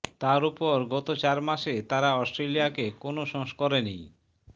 তার ওপর গত চার মাসে তারা অস্ট্রেলিয়াকে কোনো সংস্করণেই